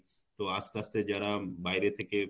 তো আস্তে আস্তে যারা বাইরে থেকে